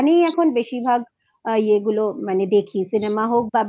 এখানেই এখন বেশির ভাগ ইয়েগুলো দেখি Cinema হোক বা